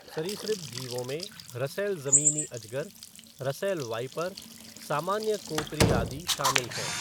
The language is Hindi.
सरीसृप जीवों में रसेल ज़मीनी अजगर, रसेल वाइपर, सामान्य कोतरी, आदि शामिल हैं।